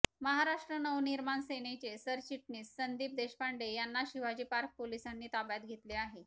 महाराष्ट्र नवनिर्माण सेनेचे सरचिटणीस संदीप देशपांडे यांना शिवाजी पार्क पोलिसांनी ताब्यात घेतले आहे